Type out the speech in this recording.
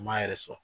U m'a yɛrɛ sɔrɔ